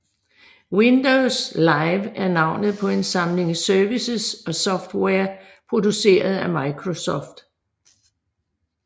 Windows Live er navnet på en samling services og software produceret af Microsoft